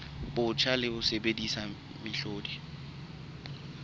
botjha le ho sebedisa mehlodi